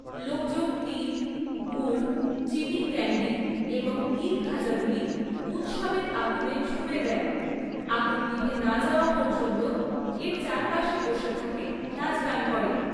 লোকজন তিল, গুড়, চীনির ক্যান্ডি এবং তিলখাজাগুলি উৎসবের আগুনে ছুঁড়ে দেয়, আগুন নিভে না যাওয়া পর্যন্ত এর চারপাশে বসে থাকে, নাচ গান করে।